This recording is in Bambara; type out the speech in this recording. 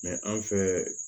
anw fɛ